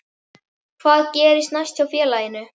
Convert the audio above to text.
Hvað gerist næst hjá félaginu?